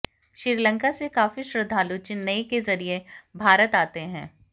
श्रीलंका से काफी श्रद्घालु चेन्नई के जरिये भारत आते हैं